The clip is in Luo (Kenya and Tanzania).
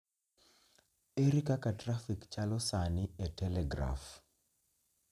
Ere kaka trafik chalo sani e telegraf